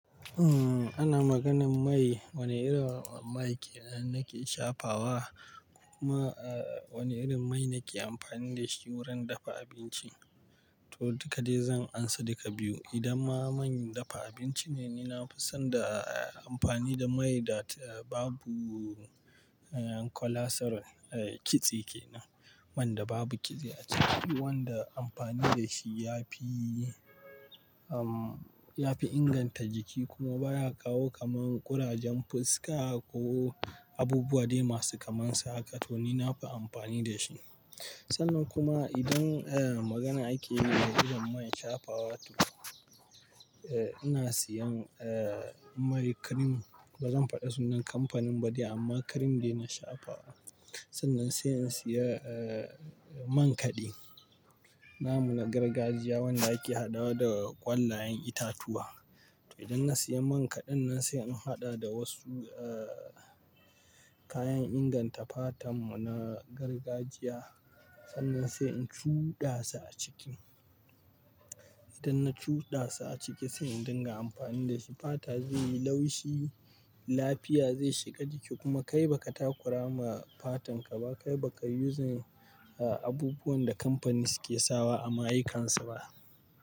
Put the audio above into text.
Umm, ana maganan mai, wane irin mai kenan nake shafawa kuma, eh, wane irin mai nake amfani da shi wurin dafa abinci. To, dukka dai zan amsa dukka biyu. Idan ma mai dafa abinci ne, ni na fi son da, eh, amfani da mai da babu, eh, cholesterol, eh, kitse kenan. Man da babu kitse a ciki wanda amfani da shi ya fi, umm, ya fi inganta jiki kuma baya kawo kamar ƙurajen fuska ko abubuwa dai masu kamansa haka. To, ni na fi amfani da shi. Sannan kuma idan, eh, magana ake yi na irin mai shafawa to, eh, ina siyan, eh, mai cream. Ba zan faɗi sunan kamfanin ba dai amma cream ne na shafawa. Sannan sai in siya, eh, man kaɗi. Na muna gargajiya wanda ake haɗawa da ƙwallayen itatuwa. To, idan na siya man kaɗin nan sai in haɗa da wasu, eh, kayan inganta fatar mu na gargajiya. Sannan sai in cuɗa sa a ciki. Idan na cuɗa su a ciki sai in dinga amfani da shi. Fata zai yi laushi, lafiya zai shiga jiki kuma kai ba ka takura ma fatan ka ba. Kai ba ka yi uzin, eh, abubuwan da kamfani suke sawa a mayikansu ba.